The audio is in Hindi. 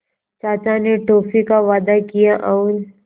चाचा ने टॉफ़ी का वादा किया और